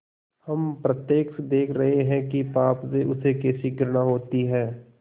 हम प्रत्यक्ष देख रहे हैं कि पाप से उसे कैसी घृणा होती है